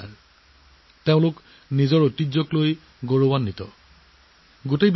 ১ জুনত তেওঁলোক সকলোৱে ভাৰতীয় আগমনৰ দিনটো ধুমধামেৰে উদযাপন কৰে যাৰ জৰিয়তে তেওঁলোকৰ অনুভৱ স্পষ্টকৈ প্ৰকাশ পাইছে